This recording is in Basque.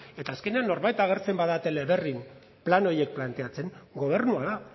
eta azkenean norbait agertzen bada teleberrin plan horiek planteatzen gobernua da